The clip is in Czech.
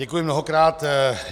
Děkuji mnohokrát.